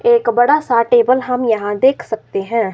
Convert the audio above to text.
एक बड़ा सा टेबल हम यहां देख सकते हैं।